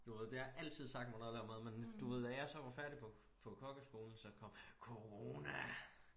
Du ved det har altid sagt mig noget at lave mad men du ved da jeg så var færdig på på kokkeskolen så kom corona